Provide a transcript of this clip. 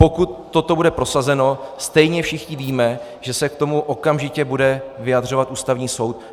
Pokud toto bude prosazeno, stejně všichni víme, že se k tomu okamžitě bude vyjadřovat Ústavní soud.